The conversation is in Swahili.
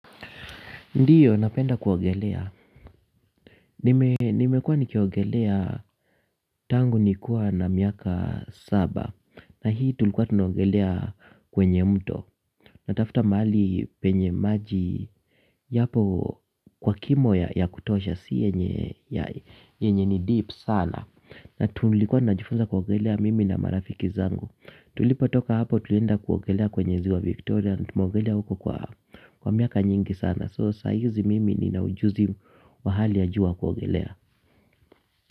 Ndiyo napenda kuogelea, nimekua nikiogelea tangu nikua na miaka saba. Na hii tulikuwa tunogelea kwenye mto. Natafuta mahali penye maji yapo kwa kimo ya kutoasha siye nye nye nye ni deep sana na tulikuwa najifunza kuogelea mimi na marafiki zangu tulipo toka hapo tulienda kuogelea kwenye ziwa Victoria na tumogelea huko kwa miaka nyingi sana soo saa hizi mimi nina ujuzi wa hali ya juu wa kugelea.